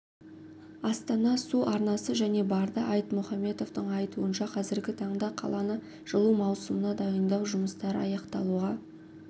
астана су арнасы және барды айтмұхаметовтің айтуынша қазіргі таңда қаланы жылу маусымына дайындау жұмыстары аяқталуға